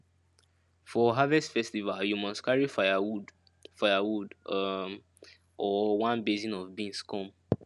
for harvest festival you must carry firewood firewood um or one basin of beans come